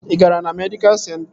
Ị gara na medịkal senta?